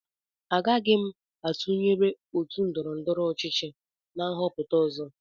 Agaghị m etụnyerụ otu ndọrọ ndọrọ ọchịchị na nhọpụta ọzọ